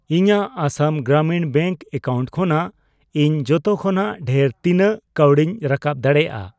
ᱤᱧᱟᱜ Assam Gramin bank account ᱠᱷᱚᱱᱟᱜ ᱤᱧ ᱡᱚᱛᱚ ᱠᱷᱚᱱᱟᱜ ᱰᱷᱮᱨ ᱛᱤᱱᱟᱜ ᱠᱟᱣᱰᱤᱧ ᱨᱟᱠᱟᱯ ᱫᱟᱲᱮᱭᱟᱜᱼᱟ?